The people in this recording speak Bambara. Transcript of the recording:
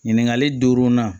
Ɲininkali duurunan